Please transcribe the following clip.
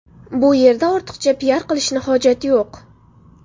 Bu yerda ortiqcha piar qilishni hojati yo‘q.